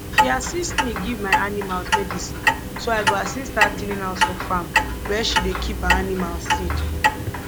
she assist me give my animals medicine so i go assist her clean house for farm where she dey keep her animals seeds